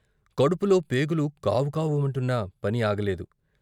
కడుపులో పేగులు కావుకావు మంటున్నా పని ఆగలేదు.